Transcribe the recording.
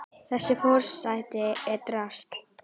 Þessi forseti er drasl!